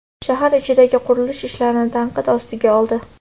shahar ichidagi qurilish ishlarini tanqid ostiga oldi.